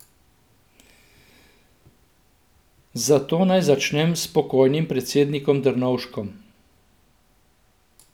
Zato naj začnem s pokojnim predsednikom Drnovškom.